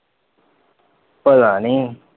ਪਤਾ ਨੀ।